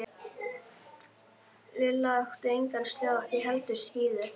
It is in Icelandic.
Lilla átti engan sleða og ekki heldur skíði.